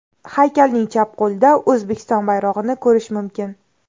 Haykalning chap qo‘lida O‘zbekiston bayrog‘ini ko‘rish mumkin.